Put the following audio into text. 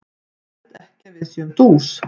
Ég held ekki að við séum dús.